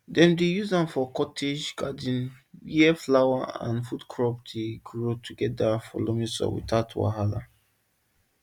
dem dey use am for cottage garden where flower and food crop dey grow together for loamy soil without wahala